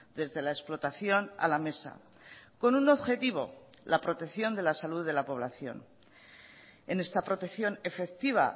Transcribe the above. desde la explotación a la mesa con un objetivo la protección de la salud de la población en esta protección efectiva